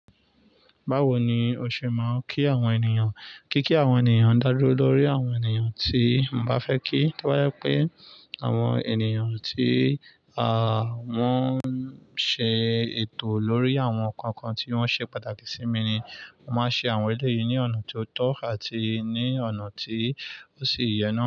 Bawo ni o ṣe máa ń kí àwọn ènìyàn? Kí kí àwọn ènìyàn dálè lórí àwọn ènìyàn tí n bá fẹ́ kí. Tí bo jẹ́ pé àwọn ènìyàn tí, à, wọ́n ń ṣe ètò lórí àwọn kánkan tí wọ́n ṣe pàtàkì sí mi ni, màá ṣe àwọn èlé yìí ní ọ̀nà tó tọ́ àti ní ọ̀nà tí ó sì yẹ náà.